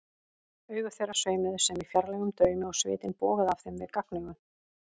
Augu þeirra sveimuðu sem í fjarlægum draumi og svitinn bogaði af þeim við gagnaugun.